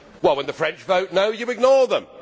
when the French vote no', you ignore them.